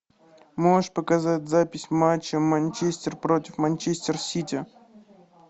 можешь показать запись матча манчестер против манчестер сити